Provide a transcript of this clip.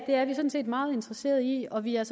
er vi sådan set meget interesseret i og vi er